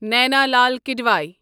Naina Lal Kidwai